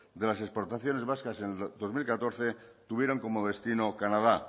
de las exportaciones vascas en el dos mil catorce tuvieron como destino canadá